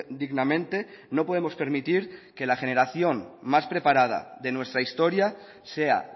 dignamente no podemos permitir que la generación más preparada de nuestra historia sea